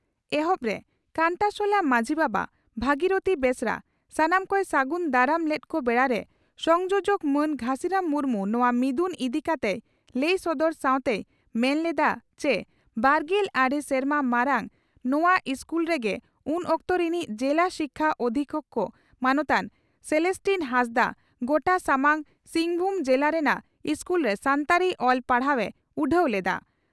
ᱮᱦᱚᱵᱨᱮ ᱠᱟᱱᱴᱟᱥᱚᱞᱟ ᱢᱟᱹᱡᱷᱤ ᱵᱟᱵᱟ ᱵᱷᱟᱹᱜᱤᱨᱚᱛᱷᱤ ᱵᱮᱥᱨᱟ ᱥᱟᱱᱟᱢ ᱠᱚᱭ ᱥᱟᱹᱜᱩᱱ ᱫᱟᱨᱟᱢ ᱞᱮᱫ ᱠᱚ ᱵᱮᱲᱟᱨᱮ ᱥᱚᱝᱡᱳᱡᱚᱠ ᱢᱟᱱ ᱜᱷᱟᱹᱥᱤᱨᱟᱢ ᱢᱩᱨᱢᱩ ᱱᱚᱣᱟ ᱢᱤᱫᱩᱱ ᱤᱫᱤ ᱠᱟᱛᱮᱭ ᱞᱟᱹᱭ ᱥᱚᱫᱚᱨ ᱥᱟᱣᱛᱮᱭ ᱢᱮᱱ ᱞᱮᱫᱼᱟ ᱪᱤ ᱵᱟᱨᱜᱮᱞ ᱟᱨᱮ ᱥᱮᱨᱢᱟ ᱢᱟᱨᱟᱝ ᱱᱚᱣᱟ ᱤᱥᱠᱩᱞ ᱨᱮᱜᱮ ᱩᱱ ᱚᱠᱛᱚ ᱨᱤᱱᱤᱡ ᱡᱤᱞᱟ ᱥᱤᱠᱪᱷᱟ ᱚᱫᱷᱤᱠᱪᱷᱚᱠ ᱢᱟᱱᱚᱛᱟᱱ ᱥᱮᱞᱮᱥᱴᱤᱱ ᱦᱟᱸᱥᱫᱟᱜ, ᱜᱚᱴᱟ ᱥᱟᱢᱟᱝ ᱥᱤᱝᱵᱷᱩᱢ ᱡᱮᱞᱟ ᱨᱮᱱᱟᱝ ᱤᱥᱠᱩᱞᱨᱮ ᱥᱟᱱᱛᱟᱲᱤ ᱚᱞ ᱯᱟᱲᱦᱟᱣ ᱮ ᱩᱰᱷᱟᱹᱣ ᱞᱮᱫᱼᱟ ᱾